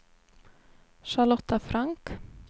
Charlotta Frank